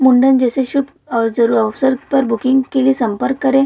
मुंडन जैसे शुभ अ जरूरी अवसर पर बुकिंग के लिए संपर्क करे।